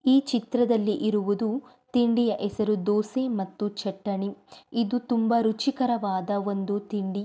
ಈ ಚಿತ್ರದಲ್ಲಿ ಇರುವುದು ತಿಂಡಿಯ ಹೆಸರು ದೋಸೆ ಮತ್ತು ಚಟಣಿ ಇದು ಒಂದು ತುಂಬಾ ರುಚಿಕರವಾದ ಒಂದು ತಿಂಡಿ.